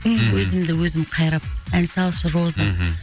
мхм өзімді өзім қайрап ән салшы роза мхм